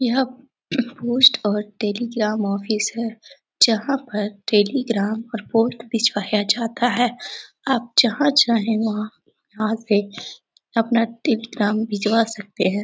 यहाँ पोस्ट और telegram office है जहाँ पर टेलीग्राम और पोस्ट भिजवाया जाता है आप जहाँ चाहे वहाँ यहाँ से अपना टेलीग्राम भिजवा सकते है |